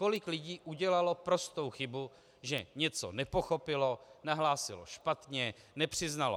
Kolik lidí udělalo prostou chybu, že něco nepochopilo, nahlásilo špatně, nepřiznalo.